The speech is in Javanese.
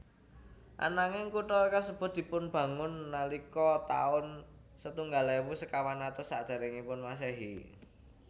Ananging kutha kasebut dipunbangun nalika taun setunggal ewu sekawan atus sakderengipun Masehi